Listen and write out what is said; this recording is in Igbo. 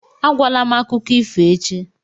Agwala m akụkọ ifo echi!